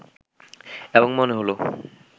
এবং মনে হলো